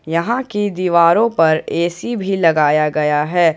यहां की दीवारों पर ए_सी भी लगाया गया है।